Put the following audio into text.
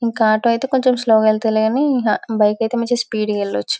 ఇంకా ఆటో ఐతే కొంచెం స్లో గ ఎల్లచుగాని బైక్ ఐతే మంచి స్పీడ్ గ ఏళ్ళొచ్చు